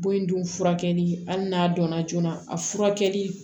Bon in dun furakɛli hali n'a dɔnna joona a furakɛli